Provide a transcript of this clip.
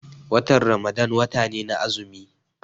Watan Ramadan wata ne na azumi.